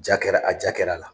Jaa kɛra a jaa kɛr'a la.